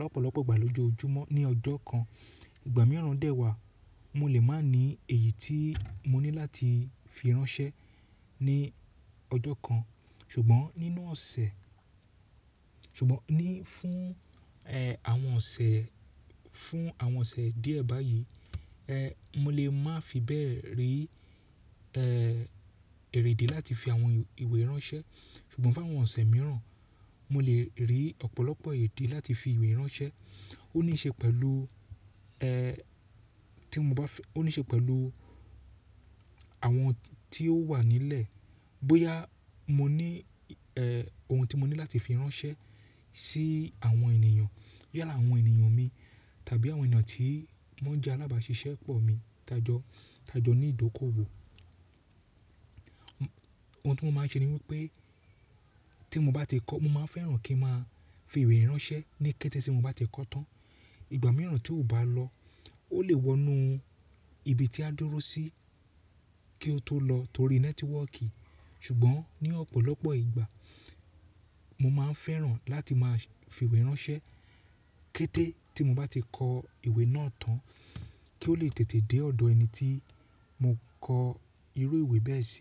lọ̀pọlopọ̀ ìgbà lójoojúmọ́ ní ọjọ́ kan. Ìgbà mìíràn dẹ̀ wà mo lè má ní èyí tí mo ní láti fi ránṣẹ́ ní ọjọ́ kan. Ṣùgbọ́n fún àwọn ọ̀sẹ̀ díẹ̀ báyìí, mo lè má fi bẹ́ẹ̀ rí èrèdi láti fi àwọn ìwé ránṣẹ́. Ṣùgbọ́n fún àwọn ọ̀sẹ̀ mìíràn, mo lè rí ọ̀pọ̀lọpọ̀ èdì láti fi ìwé ránṣẹ́. Ó níí ṣe pẹ̀lú àwọn tí ó wà nílẹ̀. Bóyá mo ní, ohun tí mo ní láti fi ránṣẹ́ sí àwọn ènìyàn, bóyá àwọn ènìyàn mi tàbí àwọn ènìyàn tí wọ́n jẹ́ alábàáṣiṣẹ́ pọ̀ mi, tàjọ́ ní ìdókòwò. Ohun tí mo máa ṣe ni wípé, mo máa fẹ́ràn kí n máa fi ìwé ránṣẹ́ ní kété tí mo bá ti kọ́ tán. Ìgbà mìíràn tí ó bá lọ, ó lè wọnú ibi tí a dúró sí kí ó tó lọ torí nẹ́tíwọ́ọ̀kì. Ṣùgbọ́n ní ọ̀pọ̀lọpọ̀ ìgbà, mo máa ń fẹ́ràn láti máa fi ìwé ránṣẹ́ kété tí mo bá ti kọ ìwé náà tán kí ó lè tètè dé ọ̀dọ̀ ẹni tí mo kọ irú ìwé bẹ́ẹ̀ sí.